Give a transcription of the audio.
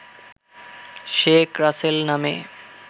শেখ রাসেল নামে